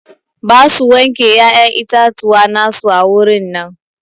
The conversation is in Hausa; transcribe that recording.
Ba su wanke ƴaƴan itatuwa na su a wurin nan.